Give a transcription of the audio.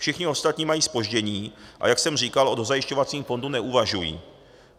Všichni ostatní mají zpoždění, a jak jsem říkal, o dozajišťovacím fondu neuvažují.